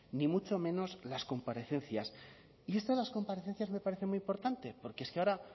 ni mucho menos las comparecencias y esto de las comparecencias me parece muy importante porque es que ahora